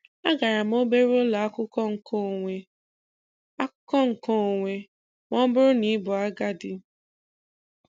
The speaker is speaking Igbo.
agara m obere ụlọ akwụkwọ nkeonwe, akwụkwọ nkeonwe, ma ọ bụrụ na ị bụ agadi.